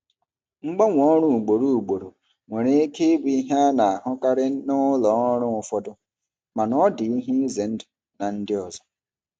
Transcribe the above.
Mgbanwe ọrụ ugboro ugboro nwere ike ịbụ ihe a na-ahụkarị na ụlọ ọrụ ụfọdụ mana ọ dị ize ndụ na ndị ọzọ.